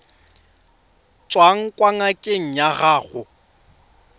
tswang kwa ngakeng ya gago